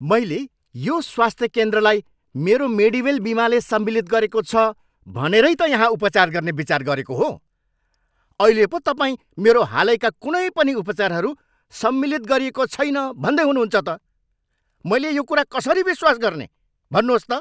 मैले यो स्वास्थ केन्द्रलाई मेरो मेडिवेल बिमाले सम्मिलित गरेको छ भनेरै त यहाँ उपचार गर्ने विचार गरेको हो। अहिले पो तपाईँ मेरो हालैका कुनै पनि उपचारहरू सम्मिलित गरिएको छैन भन्दै हुनुहुन्छ त! मैले यो कुरा कसरी विश्वास गर्ने, भन्नुहोस् त!